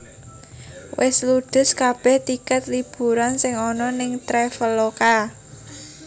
Wes ludes kabeh tiket liburan sing ono ning Traveloka